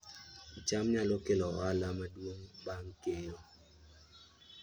cham nyalo kelo ohala maduong' bang' keyo